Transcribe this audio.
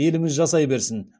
еліміз жасай берсін